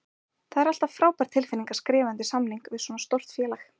Það er alltaf frábær tilfinning að skrifa undir samning við svona stórt félag.